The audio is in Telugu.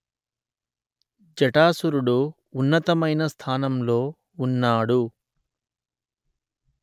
జటాసురుడు ఉన్నతమైన స్థానంలో ఉన్నాడు